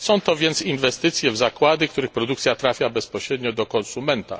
Są to więc inwestycje w zakłady, których produkcja trafia bezpośrednio do konsumenta.